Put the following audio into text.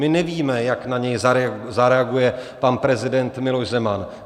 My nevíme, jak na něj zareaguje pan prezident Miloš Zeman.